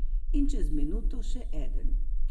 In čez minuto še eden.